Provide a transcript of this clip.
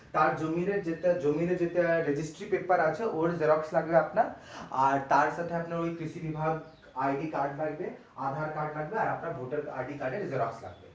তার জমিতে যেটা জমিতে যেটা registry paper আছে ওর xerox লাগবে আপনার আর তার সাথে আপনার ওই কৃষি বিভাগ ID card লাগবে aadhaar card লাগবে আর আপনার voter ID card এর xerox লাগবে।